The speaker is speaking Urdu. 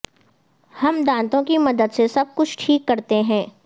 ہم دانتوں کی مدد سے سب کچھ ٹھیک کرتے ہیں